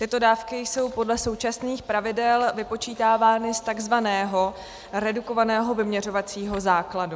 Tyto dávky jsou podle současných pravidel vypočítávány z takzvaného redukovaného vyměřovacího základu.